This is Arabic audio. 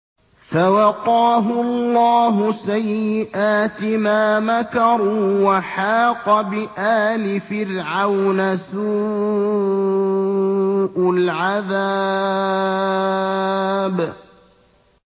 فَوَقَاهُ اللَّهُ سَيِّئَاتِ مَا مَكَرُوا ۖ وَحَاقَ بِآلِ فِرْعَوْنَ سُوءُ الْعَذَابِ